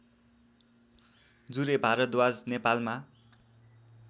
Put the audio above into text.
जुरे भारद्वाज नेपालमा